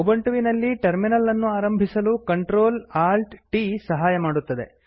ಉಬಂಟುವಿನಲ್ಲಿ terminal ಅನ್ನು ಆರಂಭಿಸಲು Ctrl Alt t ಸಹಾಯ ಮಾಡುತ್ತದೆ